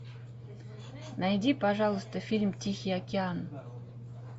найди пожалуйста фильм тихий океан